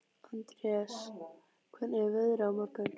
Andreas, hvernig er veðrið á morgun?